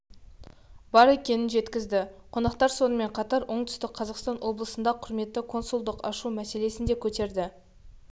бар екенін жеткізді қонақтар сонымен қатар оңтүстік қазақстан облысында құрметті консулдық ашу мәселесін де көтерді